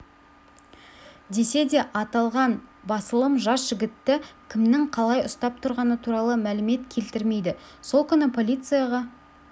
десе де аталған басылым жас жігітті кімнің қалай ұстап тұрғаны туралы мәлімет келтірмейді сол күні полицияға